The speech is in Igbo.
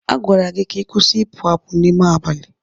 A gwara gị ka ị kwụsị ịpụ apụ n'ime abalị!